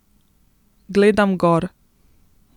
Gledam gor.